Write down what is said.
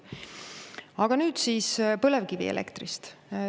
Aga nüüd siis põlevkivielektrist.